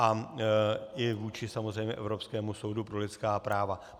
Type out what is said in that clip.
A i vůči samozřejmě Evropskému soudu pro lidská práva.